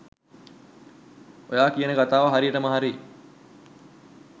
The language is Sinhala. ඔයා කියන කතාව හරියටම හරි